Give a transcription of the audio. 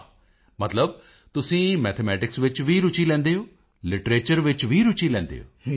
ਬਈ ਵਾਹ ਮਤਲਬ ਤੁਸੀਂ ਮੈਥਮੈਟਿਕਸ ਵਿੱਚ ਵੀ ਰੁਚੀ ਲੈਂਦੇ ਹੋ ਲਿਟਰੇਚਰ ਵਿੱਚ ਵੀ ਰੁਚੀ ਲੈਂਦੇ ਹੋ